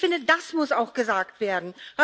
Ich finde, das muss auch gesagt werden.